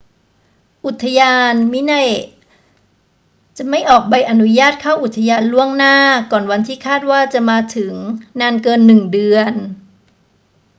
อุทยาน minae จถไม่ออกใบอนุญาตเข้าอุทยานล่วงหน้าก่อนวันที่คาดว่าจะมาถึงนานเกินหนึ่งเดือน